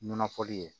Nɔnɔ fɔli ye